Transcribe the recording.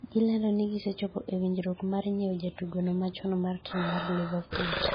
gilando ni gisechopo e winjruok mar nyiewo jadugono machon mar tim mar Liverpool